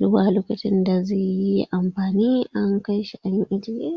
Zuwa lokacin da za’a yi amfani an kai shi an ejiya.